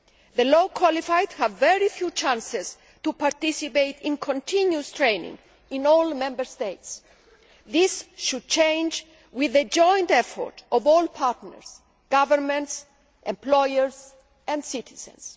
The low qualified have very few opportunities to participate in continuous training in all Member States. This should change with the joint effort of all partners, governments, employers and citizens.